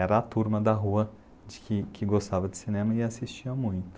Era a turma da rua que, que gostava de cinema e assistia muito.